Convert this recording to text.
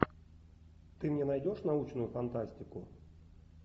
ты мне найдешь научную фантастику